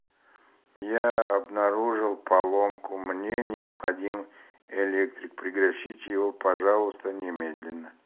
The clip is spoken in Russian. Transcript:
я обнаружил поломку мне необходим электрик пригласите его пожалуйста немедленно